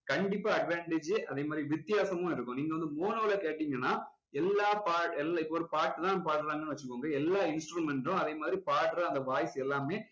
கண்டிப்பா advantage அதே மாதிரி வித்தியாசமும் இருக்கும் நீங்க வந்து mono ல கேட்டீங்கன்னா எல்லாப் பாட்~ எல்லா இப்போ ஒரு பாட்டு தான் பாடுறாங்க வச்சுக்கோங்களேன் எல்லாம் instrument உம் அதே மாதிரி பாடுற அந்த voice எல்லாமே